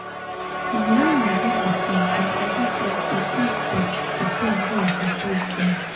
na wen i born pikin i sabi say e good to prepare well before you born